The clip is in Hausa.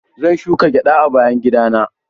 Zan shuka gyada a bayan gida na.